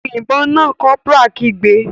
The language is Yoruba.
Yin ìbọn náà!, corporal kigbe.